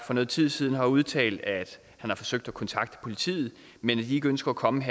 for noget tid siden har udtalt at han har forsøgt at kontakte politiet men at de ikke ønsker at komme